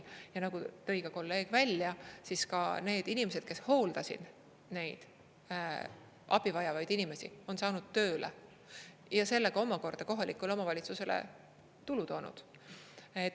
Ja nagu kolleeg tõi välja, need inimesed, kes hooldasid neid abi vajavaid inimesi, on saanud tööle ja sellega kohalikule omavalitsusele tulu toonud.